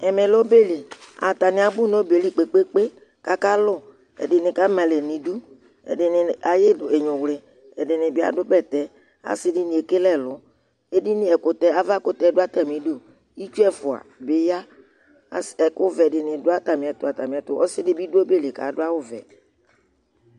Ɛmɛ lɛ ɔbɛ li, abu n'ɔbɛ li kpekpékpe k'aka lu, ɛdini k'ama alɛ n'idù, ɛdini aya inyũwlì, ɛdini bi adu bɛtɛ, asi dini ekele ɛlu, edinì ɛkutɛ, avakutɛ dù atami idú, itsu ɛfua bi ya, as, ɛku vɛ dini bi dù atamìɛtu, ɔsidì bi du ɔbɛɛ ayili k'adu awù vɛ